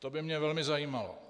To by mě velmi zajímalo.